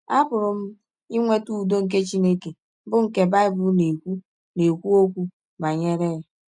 Apụrụ m inweta ụdọ nke Chineke bụ́ nke Bible na - ekwụ na - ekwụ ọkwụ banyere ya.